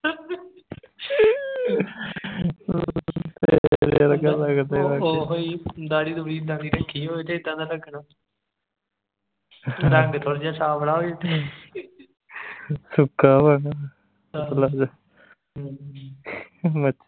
ਓਹੋ ਹੀ ਦਾੜ੍ਹੀ ਦੁੜੀ ਇੱਦਾਂ ਦੀ ਰੱਖੀ ਹੋਵੇ ਤਾਂ ਇੱਦਾਂ ਦਾ ਲਗਨਾ ਰੰਗ ਥੋੜਾ ਜਿਹਾ ਸਾਂਵਲਾ ਹੋਵੇ ਤੇ